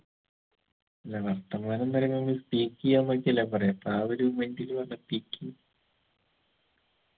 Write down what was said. ഇല്ല വർത്തമാനംന്ന് പറയുമ്പ ഈ speak എയ്യാന്നൊക്കെല്ലെ പറയാ അപ്പൊ ആ ഒരു mind ല് വന്ന് peking